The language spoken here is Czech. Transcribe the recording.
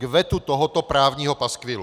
K vetu tohoto právního paskvilu!